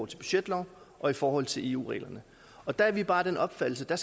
til budgetloven og i forhold til eu reglerne og der er vi bare af den opfattelse at